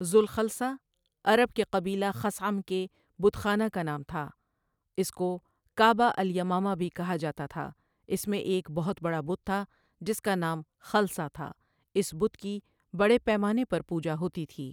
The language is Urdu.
ذوالخلصہ عرب کے قبیلہ خثعم کے بت خانہ کا نام تھا اس کو کعبۃ الیمامہ بھی کہا جاتا تھا، اس میں ایک بہت بڑا بت تھا جس کا نام خلصہ تھا، اس بت کی بڑے پیمانہ پر پوجا ہوتی تھی۔